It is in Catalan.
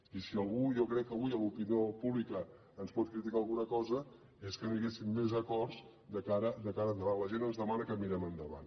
i si algú jo crec avui de l’opinió pública ens pot criticar alguna cosa és que no hi haguessin més acords de cara endavant la gent ens demana que mirem endavant